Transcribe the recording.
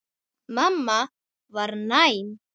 Mamma var næm.